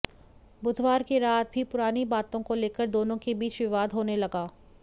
बुधवार की रात भी पुरानी बातों को लेकर दोनों के बीच विवाद होने लगा